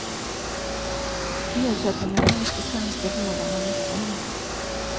Ersättningarna är efter svenska förhållanden mycket höga.